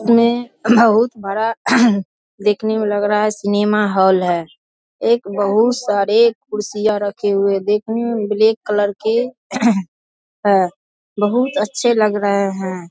इसमें बहुत बड़ा देखने मे लग रहा है सिनेमा होल है एक बहुत सारे कुर्सियां रखे हुए है देखने मे ब्लैक कलर के है बहुत अच्छा लग रहे हैं।